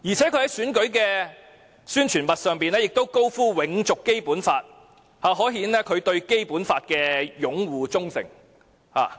此外，他在選舉宣傳物上清楚表明要永續《基本法》，可見他對《基本法》的擁護和忠誠。